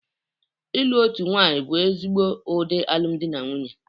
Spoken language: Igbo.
Ịlụ otu nwanyị bụ ezigbo ụdị alụmdi na nwunye